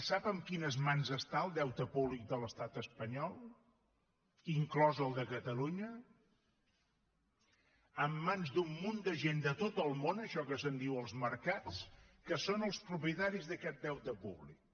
sap en quines mans està el deute públic de l’estat espanyol inclòs el de catalunya en mans d’un munt de gent de tot el món això que se’n diuen els mercats que són el propietaris d’aquest deute públic